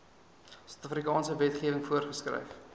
suidafrikaanse wetgewing voorgeskryf